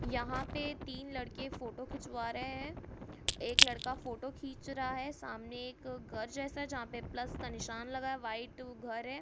यहाँ पे तीन लड़के फोटो खिचवा रहे हैं एक लड़का फोटो खींच रहा है सामने एक घर जैसा है जहाँ पे प्लस का निशान लगा वाइट घर है।